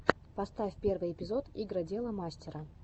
поставь первый эпизод игродела мастера